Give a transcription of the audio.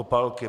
Opálky.